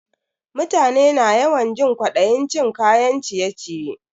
Mutane na yawan jin kwadayin cin kayan ciye-ciye.